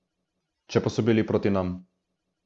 Če pa so bili proti nam ...